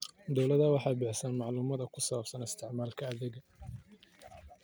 Dawladdu waxay bixisaa macluumaadka ku saabsan isticmaalka adeegyada.